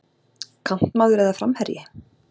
Kantmaður eða framherji?